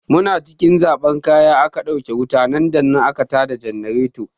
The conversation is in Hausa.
Muna cikin zaɓan kaya aka ɗauke wuta nan da nan aka ta da jannareto.